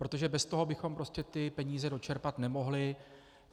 Protože bez toho bychom prostě ty peníze dočerpat nemohli.